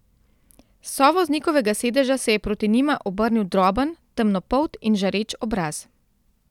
S sovoznikovega sedeža se je proti njima obrnil droben, temnopolt in žareč obraz.